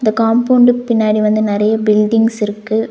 இந்த காம்பவுண்டுக்கு பின்னாடி வந்து நெறைய பில்டிங்ஸ் இருக்கு.